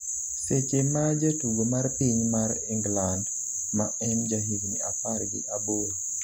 seche ma jatugo mar piny mar England ma en jahigni apar gi aboro